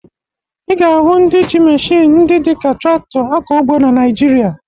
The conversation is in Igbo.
Ị ga-ahụ ndị ji meshịn ndị dị ka traktọ akọ ugbo na Naịjirịa